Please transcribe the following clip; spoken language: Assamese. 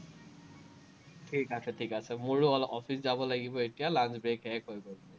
ঠিক আছে ঠিক আছে, মোৰো অলপ office যাব লাগিব এতিয়া, lunch-break শেষহৈ গল।